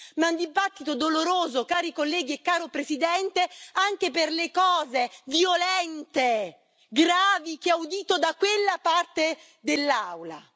Ma è un dibattito doloroso, cari colleghi e caro Presidente, anche per le cose violente e gravi che ho udito da quella parte dell'Aula.